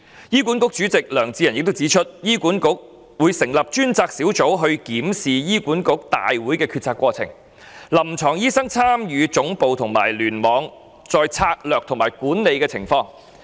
醫管局主席梁智仁指出，醫管局會成立專責小組檢視醫管局大會的決策過程，以及臨床醫生參與總部和聯網層面的策略及管理情況。